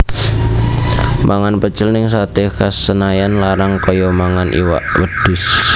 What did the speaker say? Mangan pecel ning Sate Khas Senayan larange koyo mangan iwak wedhus